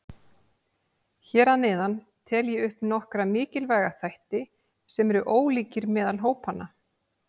Hér að neðan tel ég upp nokkra mikilvæga þætti sem eru ólíkir meðal hópanna.